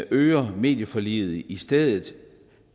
øger medieforliget i stedet